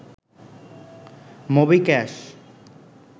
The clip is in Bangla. মোবিক্যাশ